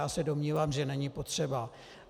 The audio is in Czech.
Já se domnívám, že není potřeba.